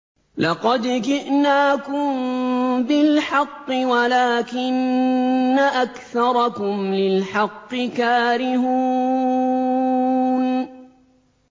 لَقَدْ جِئْنَاكُم بِالْحَقِّ وَلَٰكِنَّ أَكْثَرَكُمْ لِلْحَقِّ كَارِهُونَ